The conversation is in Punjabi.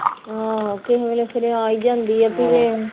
ਆਹ ਕਿਸੇ ਵੇਲੇ ਫੇਰ ਆ ਹੀ ਜਾਂਦੀ ਆ ਧੀਏ